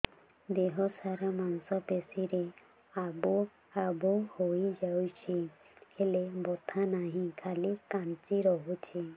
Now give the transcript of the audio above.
ଦେହ ସାରା ମାଂସ ପେଷି ରେ ଆବୁ ଆବୁ ହୋଇଯାଇଛି ହେଲେ ବଥା ନାହିଁ ଖାଲି କାଞ୍ଚି ରଖୁଛି